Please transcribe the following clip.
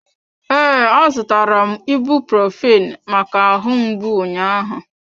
Ee, a zụtara m ibuprophen maka ahụ mgbu ụnyahụ.